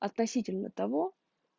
относительно того